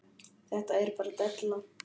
Þetta er bara della.